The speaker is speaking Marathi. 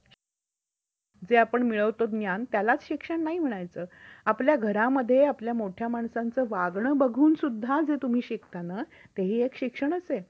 corruption चा दर्जा व्यक्ती विमा company विमा नियमा आणि विकास प्रतिकरणाकडे योग्य प्रकारे दर भरल्यानंतर ठरवतात.